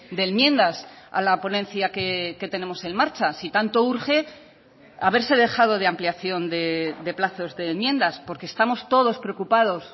de enmiendas a la ponencia que tenemos en marcha si tanto urge haberse dejado de ampliación de plazos de enmiendas porque estamos todos preocupados